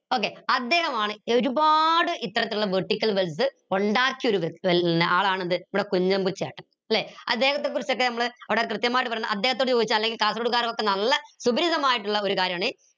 okay അദ്ദേഹമാണ് ഒരുപാട് ഇത്തരത്തിലുള്ള vertical wells ഒണ്ടാക്കിയ ആളാണ് എന്ത് നമ്മടെ കുഞ്ഞമ്പു ചേട്ടൻ ല്ലെ അദ്ദേഹത്തെക്കുറിച്ച് ഒക്കെ നമ്മൾ അവിടെ കൃത്യമായിട്ട് പറഞ്ഞ അദ്ദേഹത്തോട് ചോദിച്ചാൽ അല്ലെങ്കിൽ കാസർകോട് കാറൊക്കെ നല്ല സുപരിചിതമായിട്ടുള്ള ഒരു കാര്യമാണ്